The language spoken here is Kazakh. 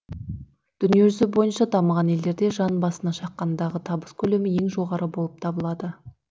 дүниежүзі бойынша дамыған елдерде жан басына шаққандағы табыс көлемі ең жоғары болып табылады